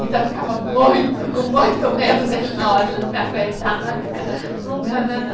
Então eu ficava muito, com muito medo dele na hora, ele não me aguentar, mas nunca, nunca